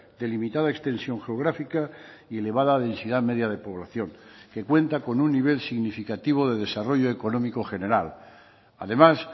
de limitada extensión geográfica y elevada densidad media de poblacion que cuenta con un nivel significativo de desarrollo económico general además